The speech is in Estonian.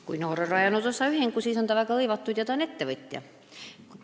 Kui noor on rajanud osaühingu, siis ta on ju tööga väga hõivatud: ta on ettevõtja.